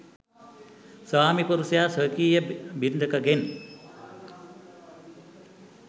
ස්වාමිපුරුෂයා ස්වකීය බිරිඳකගෙන්